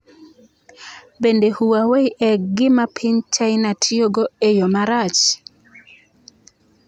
Bende Huawei e gima piny China tiyogo e yo marach?